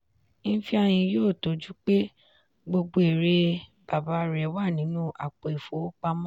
ifeanyi yóò tọ́jú pé gbogbo èrè baba rẹ̀ wà nínú àpò ìfowópamọ́.